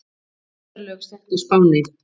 Neyðarlög sett á Spáni